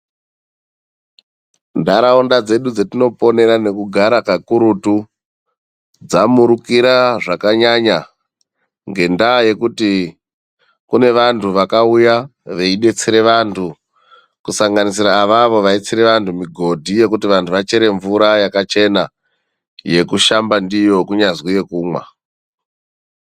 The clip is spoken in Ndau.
Ntaraunda dzedu dzatinoponera nekugara kakurutu dzamurukira zvakanyanya ngendaa yekuti kune vantu vakauya veidetsera vantu, kusanganisira avavo vaitsira vantu mugodhi wekuti vantu vachere mvura yakachena yekushamba ndiyo kunyazi yekumwa.